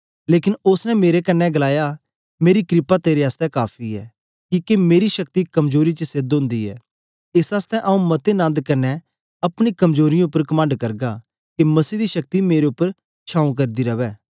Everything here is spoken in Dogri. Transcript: लेकन ओसने मेरे कन्ने गलाया मेरी क्रपा तेरे आसतै काफी ऐ किके मेरी शक्ति कमजोरी च सेध ओंदी ऐ एस आसतै आंऊँ मते नन्द कन्ने अपनी कमजोरीयें उपर कमंड करगा के मसीह दी शक्ति मेरे उपर छाऊं करदी रवै